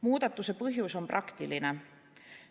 Muudatuse põhjus on praktiline.